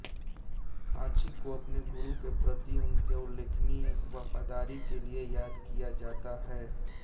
हाची को अपने गुरु के प्रति उनके उल्लेखनीय वफादारी के लिए याद किया जाता है